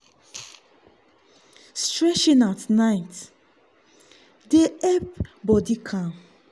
stretching at night dey help body calm.